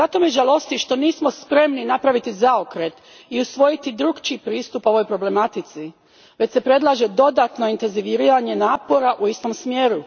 Žalosti me što nismo spremni napraviti zaokret i usvojiti drukčiji pristup ovoj problematici, već se predlaže dodatno intenziviranje napora u istom smjeru.